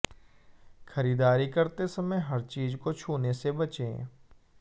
खरीदारी करते समय हर चीज को छूने से बचें